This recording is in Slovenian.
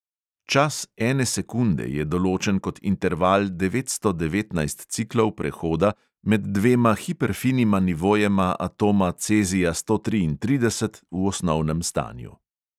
Čas ene sekunde je določen kot interval devetsto devetnajst ciklov prehoda med dvema hiperfinima nivojema atoma cezija sto triintrideset v osnovnem stanju.